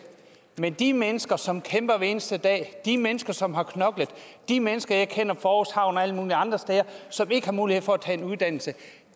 men de mennesker som kæmper hver eneste dag de mennesker som har knoklet de mennesker jeg kender fra og alle mulige andre steder som ikke har mulighed for at tage en uddannelse